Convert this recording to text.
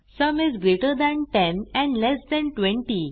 sum is greater than 10 and less than 20